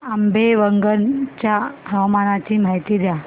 आंबेवंगन च्या हवामानाची माहिती द्या